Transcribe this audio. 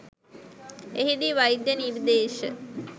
එහිදී වෛද්‍ය නිර්දේශ